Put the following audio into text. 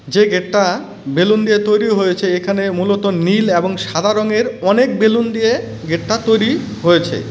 যে গেটটা বেলুন দিয়ে তৈরি হয়েছে। এখানে মূলত নীল এবং সাদা রঙের অনেক বেলুন দিয়ে গেটটা তৈরি হয়েছে ।